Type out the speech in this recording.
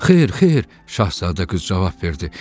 Xeyr, xeyr, Şahzadə qız cavab verdi.